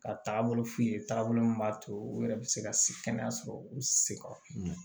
Ka taabolo f'i ye taabolo min b'a to u yɛrɛ bɛ se ka kɛnɛya sɔrɔ u seko la